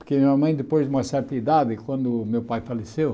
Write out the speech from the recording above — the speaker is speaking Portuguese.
Porque minha mãe, depois de uma certa idade, quando meu pai faleceu...